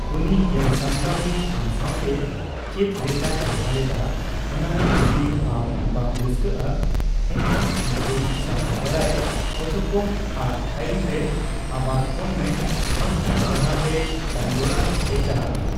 ᱩᱱᱤ ᱧᱮᱞᱥᱟᱢᱴᱟᱣᱤᱡ ᱟᱢ ᱥᱟᱣᱛᱮ ᱪᱮᱫ ᱞᱮᱠᱟᱭ ᱵᱮᱵᱷᱟᱨ ᱮᱫᱟ ᱚᱱᱟᱨᱮ ᱡᱚᱫᱤ ᱟᱢ ᱵᱟᱝ ᱨᱟᱹᱥᱠᱟᱹᱜᱼᱟᱹ ᱮᱱᱠᱷᱟᱱ ᱩᱱᱠᱩ ᱥᱟᱨᱦᱟᱣ ᱵᱟᱰᱟᱭ ᱚᱪᱚᱠᱚᱢ, ᱟᱨ ᱛᱟᱭᱚᱢᱛᱮ ᱟᱵᱟᱨ ᱯᱷᱚᱱ ᱢᱮ ᱵᱟᱝᱠᱷᱟᱱ ᱫᱚᱲᱦᱟᱛᱮ ᱠᱟᱹᱢᱤ ᱚᱲᱟᱜᱼᱛᱮ ᱪᱟᱞᱟᱜ ᱢᱮ ᱾